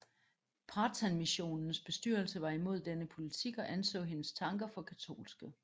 Pathanmissionens bestyrelse var imod denne politik og anså hendes tanker for katolske